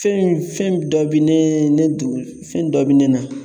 Fɛn fɛn dɔ bɛ ne fɛn dɔ bɛ ne na